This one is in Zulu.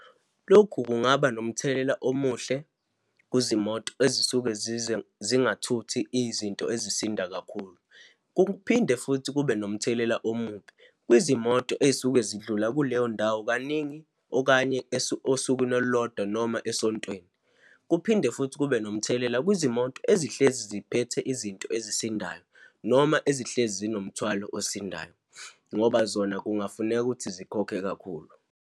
Lokhu kungaba nomthelela omuhle kuzimoto ezisuke zize zingathuthi izinto ezisinda kakhulu. Kuphinde futhi kube nomthelela omubi kwizimoto eyisuke zidlula kuleyo ndawo kaningi, okanye osukwini olulodwa noma esontweni. Kuphinde futhi kube nomthelela kwizimoto ezihlezi ziphethe izinto ezisindayo noma ezihlezi zinomthwalo osindayo, ngoba zona kungafuneka ukuthi zikhokhe kakhulu.